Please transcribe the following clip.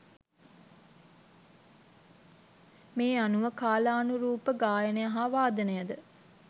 මේ අනුව කාලානුරූප ගායනය හා වාදනය ද